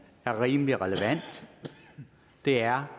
er rimelig relevant det er